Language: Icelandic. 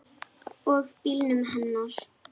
Og bílnum hennar.